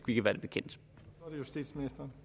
vi kan være det bekendt politisk